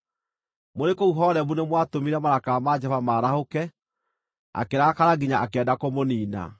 Mũrĩ kũu Horebu nĩmwatũmire marakara ma Jehova maarahũke akĩrakara nginya akĩenda kũmũniina.